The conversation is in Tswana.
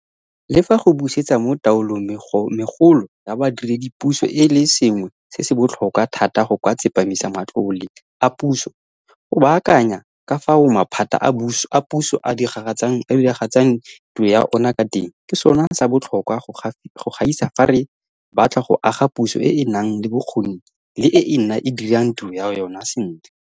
Le fa go busetsa mo taolong megolo ya badiredipuso e le sengwe se se botlhokwa thata go ka tsepamisa matlole a puso, go baakanya ka fao maphata a puso a diragatsang tiro ya ona ka teng ke sona sa botlhokwa go gaisa fa re batla go aga puso e e nang le bokgoni le e e dirang tiro ya yona sentle.